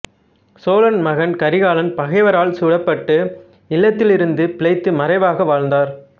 சோழன் மகன் கரிகாலன் பகைவரால் சுடப்பட்ட இல்லத்திலிருந்து பிழைத்து மறைவாக வாழ்ந்தார்